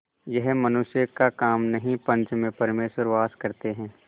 यह मनुष्य का काम नहीं पंच में परमेश्वर वास करते हैं